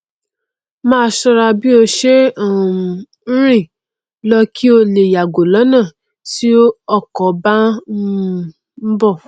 máa ṣọra bí ó ṣe um n rìn lọ kí ó lè yàgò lọnà tí ọkọ bá n um bọ